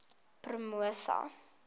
promosa